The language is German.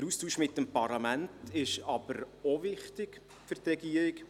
Der Austausch mit dem Parlament ist jedoch auch wichtig für die Regierung.